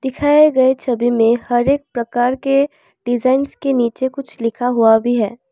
दिखाए गए छवि में हर एक प्रकार के डिजाइंस के नीचे कुछ लिखा हुआ भी है।